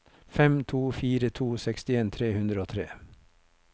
fem to fire to sekstien tre hundre og tre